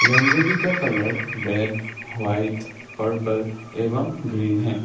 रंगोली का colour red white purple एवं green है।